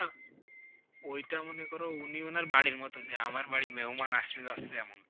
ওইটা মনে করো উনি ওনার বাড়ির মতো, যে আমার বাড়ি মেহমান আসছে যাচ্ছে এমন।